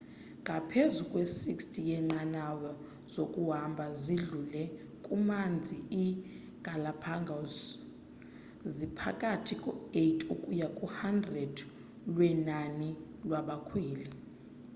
ngaphezu kwe 60 yenqanawa zokuhamba zidlule kumanzi i galapagos ziphakathi ko 8 ukuya ku 100 lwenani lwabakhweli